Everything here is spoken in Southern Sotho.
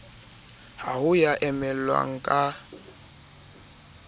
ha ho ya emellwang ka